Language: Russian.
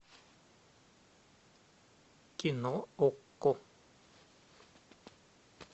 кино окко